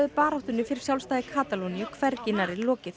baráttunni fyrir sjálfstæði Katalóníu væri hvergi nærri lokið